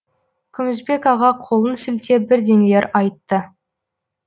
күмісбек аға қолын сілтеп бірдеңелер айтты